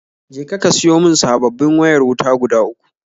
Je ka ka siyo mun sabobin wayar wuta guda uku